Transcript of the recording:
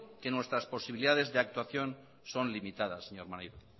que nuestras posibilidades de actuación son limitadas señor maneiro